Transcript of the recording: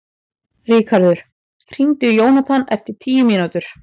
Ríkharður, hringdu í Jónathan eftir tíu mínútur.